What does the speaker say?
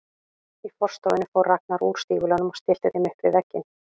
Í forstofunni fór Ragnar úr stígvélunum og stillti þeim upp við vegginn.